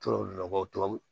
Tubabu nɔgɔ